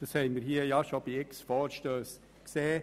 Das haben wir hier bereits bei vielen Vorstössen gesehen.